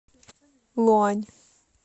луань